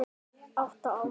Átta ár.